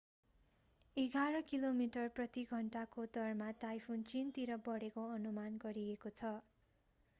एघार किलोमिटर प्रति घन्टाको दरमा टाइफुन चीनतिर बढेको अनुमान गरिएको छ